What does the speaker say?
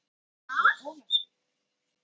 Þá er það Ólafsvík.